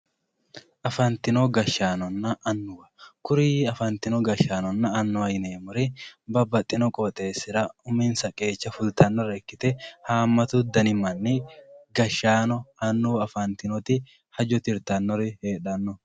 afantino gashshaanonna annuwa kuri afantino gashshaanonna annuwa yineemori babbaxino qoxeesira uminsa qeecha fultannore ikkite haamatu dani manni kashshaano annuwa afantinoti hajo tirtannori heedhanno